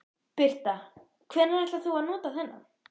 Birta: Hvenær ætlar þú að nota þennan?